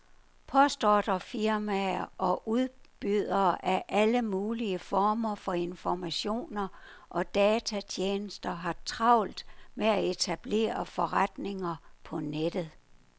Postordrefirmaer og udbydere af alle mulige former for informationer og datatjenester har travlt med at etablere forretninger på nettet.